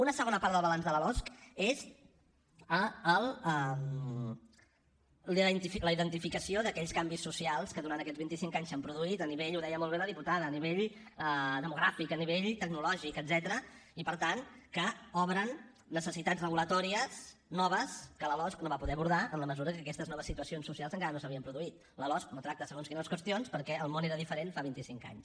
una segona part del balanç de la losc és la identificació d’aquells canvis socials que durant aquests vint i cinc anys s’han produït a nivell ho deia molt bé la diputada demogràfic a nivell tecnològic etcètera i per tant que obren necessitats reguladores noves que la losc no va poder abordar en la mesura que aquestes noves situacions socials encara no s’havien produït la losc no tracta segons quines qüestions perquè el món era diferent fa vint i cinc anys